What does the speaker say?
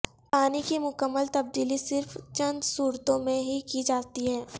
پانی کی مکمل تبدیلی صرف چند صورتوں میں ہی کی جاتی ہے